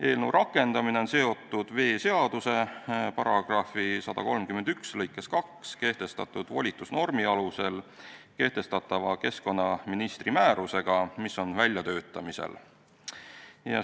Eelnõu rakendamine on seotud veeseaduse § 131 lõikes 2 kehtestatud volitusnormi alusel kehtestatava keskkonnaministri määrusega, mis on väljatöötamisel.